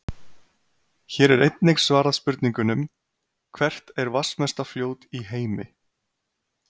Hér er einnig svarað spurningunum: Hvert er vatnsmesta fljót í heimi?